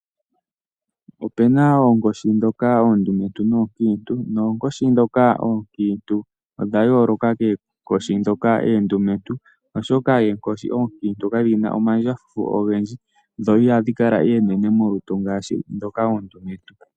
Opena oonkoshi ndhoka oondumentu noonkiintu. Oonkiintu odha yooloka kwaandhoka oondumentu oshoka dho ihadhi kala dhina omandjafufu dhafa oondumentu.